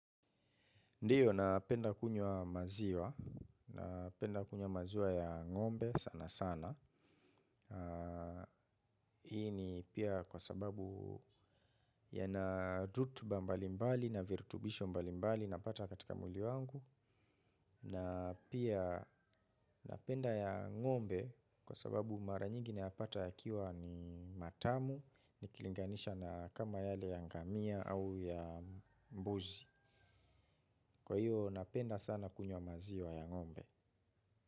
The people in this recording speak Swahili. Ndiyo napenda kunywa maziwa napenda kunywa maziwa ya ngombe sana sana. Hii ni pia kwa sababu ya na dhutu bambali mbali na virtubisho mbali mbali na pata katika mwili wangu. Na pia napenda ya ngombe kwa sababu mara nyingine nayapata yakiwa ni matamu ni kilinganisha na kama yale ya ngamia au ya mbuzi. Kwa hiyo napenda sana kunywa maziwa ya ngombe.